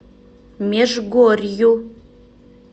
межгорью